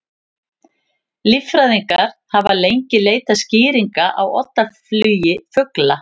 Líffræðingar hafa lengi leitað skýringa á oddaflugi fugla.